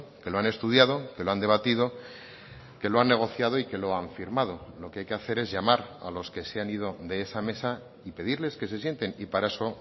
que lo han estudiado que lo han debatido que lo han negociado y que lo han firmado lo que hay que hacer es llamar a los que se han ido de esa mesa y pedirles que se sienten y para eso